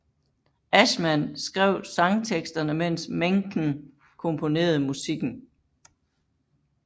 Ashman skrev sangteksterne mens Menken komponerede musikken